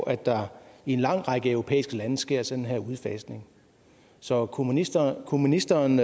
at der i en lang række europæiske lande sker en sådan udfasning så kunne ministeren kunne ministeren